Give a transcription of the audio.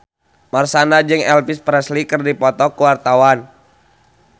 Marshanda jeung Elvis Presley keur dipoto ku wartawan